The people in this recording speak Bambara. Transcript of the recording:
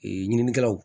ɲininikɛlaw